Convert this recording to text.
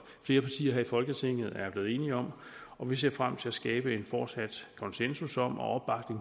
flere partier her i folketinget er blevet enige om og vi ser frem til at skabe en fortsat konsensus om og